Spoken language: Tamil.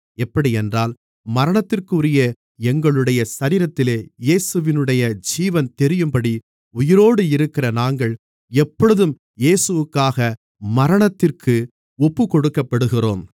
எப்படியென்றால் மரணத்திற்குரிய எங்களுடைய சரீரத்திலே இயேசுவினுடைய ஜீவன் தெரியும்படி உயிரோடு இருக்கிற நாங்கள் எப்பொழுதும் இயேசுவுக்காக மரணத்திற்கு ஒப்புக்கொடுக்கப்படுகிறோம்